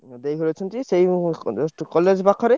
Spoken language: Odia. ମୋ ଦେଇ ଘର ଅଛନ୍ତି ସେଇ ଉଁ college ଠୁ college ପାଖରେ।